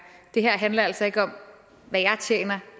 det her handler altså ikke om hvad jeg tjener